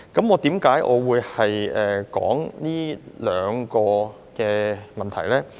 為何我會談這兩項法例呢？